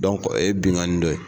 o ye binnkanni dɔ ye